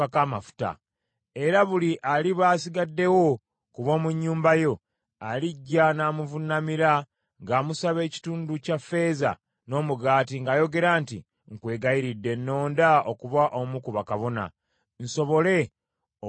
Era buli aliba asigaddewo ku b’omu nnyumba yo alijja n’amuvuunamira ng’amusaba ekitundu kya ffeeza n’omugaati ng’ayogera nti, “Nkwegayiridde nnonda okuba omu ku bakabona, nsobole okufuna ekyokulya.” ’”